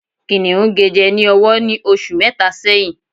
Kìnìún gé ní ọwọ jẹ ní oṣù mẹta sẹ́yín